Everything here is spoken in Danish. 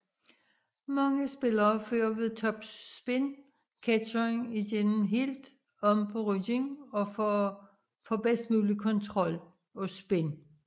Mange spillere fører ved topspin ketsjeren igennem helt om på ryggen for bedst mulig kontrol og spin